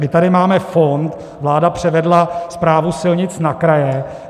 My tady máme fond, vláda převedla právo silnic na kraje.